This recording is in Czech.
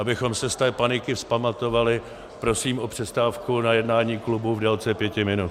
Abychom se z té paniky vzpamatovali, prosím o přestávku na jednání klubu v délce pěti minut.